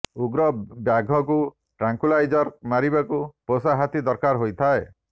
ଉଗ୍ର ବାଘକୁ ଟ୍ରାଙ୍କ୍ୟୁଲାଇଜ୍ର୍ ମାରିବାକୁ ପୋଷା ହାତୀ ଦରକାର ହୋଇଥାଏ